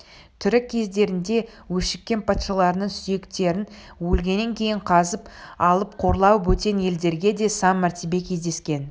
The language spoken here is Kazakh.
тірі кездерінде өшіккен патшаларының сүйектерін өлгеннен кейін қазып алып қорлау бөтен елдерде де сан мәртебе кездескен